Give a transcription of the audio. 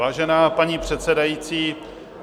Vážená paní předsedající.